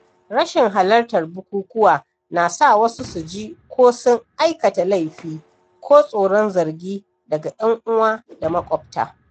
Rashin halartar bukukuwa na sa wasu su ji ko sun aikata laifi ko tsoron zargi daga ‘yan uwa da maƙwabta.